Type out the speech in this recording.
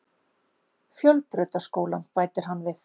Fjölbrautaskólann, bætir hann við.